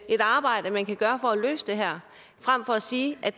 et arbejde man kan gøre for at løse det her frem for at sige at